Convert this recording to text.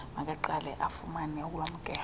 makaqale afumane ulwamkelo